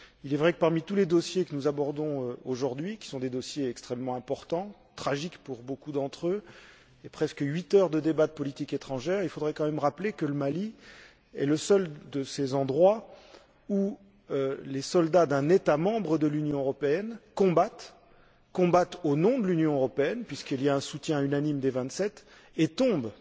Il est vrai que, parmi tous les dossiers que nous abordons aujourd'hui, qui sont des dossiers extrêmement importants, tragiques pour beaucoup d'entre eux monopolisant presque huit heures de débats de politique étrangère, il faudrait quand même rappeler que le Mali est le seul de ces endroits où les soldats d'un État membre de l'Union européenne combattent au nom de l'Union européenne, puisqu'il y a un soutien unanime des Vingt sept, et tombent.